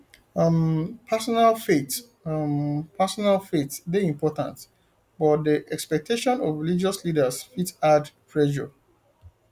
um personal faith um personal faith dey important but di expectation of religious leaders fit add pressure